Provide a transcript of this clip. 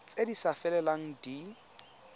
tse di sa felelang di